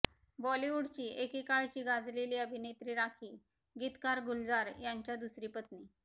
बॉलिवूडची एकेकाळची गाजलेली अभिनेत्री राखी गीतकार गुलजार यांच्या दुसरी पत्नी